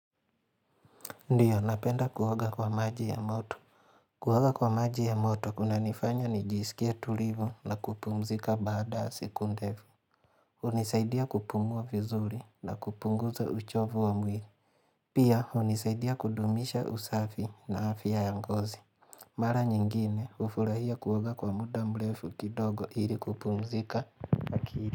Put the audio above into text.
Ndio napenda kuoga kwa maji ya moto Kuoga kwa maji ya moto kunanifanya nijisikia tulivu na kupumzika baada ya siku ndefu hunisaidia kupumua vizuri na kupunguza uchovu wa mwili Pia hunisaidia kudumisha usafi na afya ya ngozi Mara nyingine hufurahia kuoga kwa muda mrefu kidogo ili kupumzika akili.